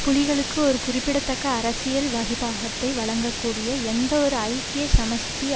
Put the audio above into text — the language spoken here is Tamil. புலிகளுக்கு ஒரு குறிப்பிடத்தக்க அரசியல் வகிபாகத்தை வழங்கக்கூடிய எந்தவொரு ஐக்கிய சமஷ்டி